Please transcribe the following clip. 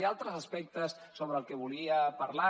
hi ha altres aspectes sobre els que volia parlar